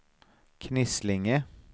Knislinge